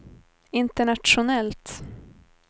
internationellt